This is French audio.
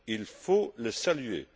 Il faut le saluer.